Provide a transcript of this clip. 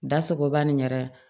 Da sogoba nin yɛrɛ